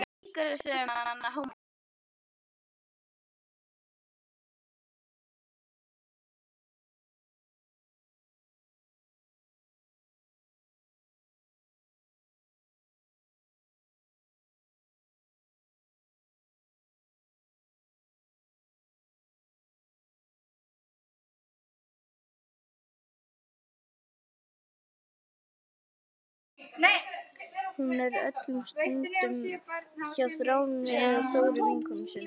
Hún er öllum stundum hjá Þráni eða Þóru vinkonu sinni.